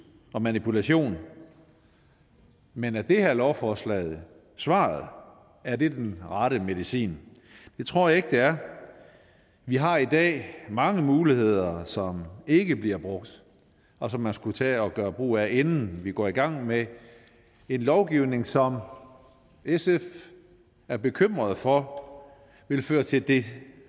og manipulation men er det her lovforslag svaret er det den rette medicin det tror jeg ikke det er vi har i dag mange muligheder som ikke bliver brugt og som man skulle tage at gøre brug af inden vi går i gang med en lovgivning som sf er bekymret for vil føre til det